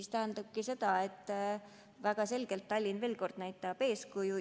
See tähendabki seda, et väga selgelt Tallinn näitab eeskuju.